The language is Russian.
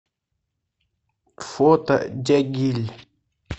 фото дягиль